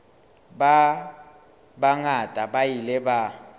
ba bangata ba ile ba